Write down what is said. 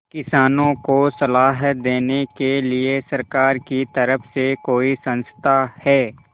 किसानों को सलाह देने के लिए सरकार की तरफ से कोई संस्था है